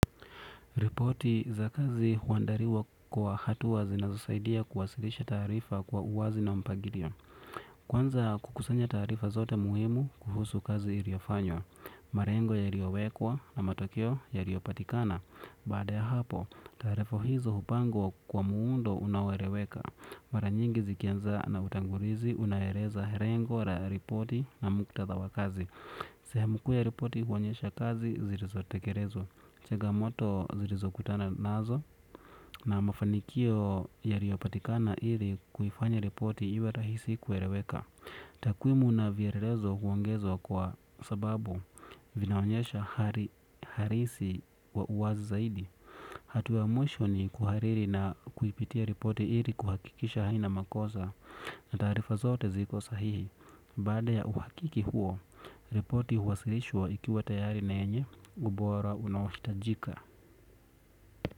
Ripoti za kazi huandaliwa kwa hatua zinazosaidia kuwasilisha tarifa kwa uwazi na mpangilio. Kwanza kukusanya taarifa zote muhimu kuhusu kazi iliyofanywa. Malengo yaliowekwa na matokeo yaliopatikana. Baada ya hapo, taarifa hizo hupangwa kwa muundo unaoeleweka. Mara nyingi zikianza na utangulizi unaeleza lengo la ripoti na muktadha wa kazi. Sehemu kuu ya ripoti huonyesha kazi zilizotekelezwa. Changamoto zilizo kutana nazo na mafanikio yaliopatikana ili kuifanya riporti iwe rahisi kueleweka. Takwimu na vielelezo huongezwa kwa sababu vinaonyesha hali halisi wa uwazi zaidi. Hatua ya mwisho ni kuhariri na kuipitia ripoti ili kuhakikisha haina makosa. Na tarifa zote ziko sahihi. Baada ya uhakiki huo, riporti huwasilishwa ikiwa tayari na yenye ubora unaohitajika.